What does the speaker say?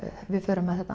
við förum með